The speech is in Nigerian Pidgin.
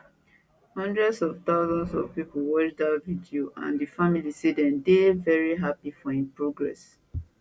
hundreds of thousands of pipo watch dat video and di family say dem dey very happy for im progress